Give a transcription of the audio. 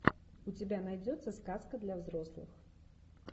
у тебя найдется сказка для взрослых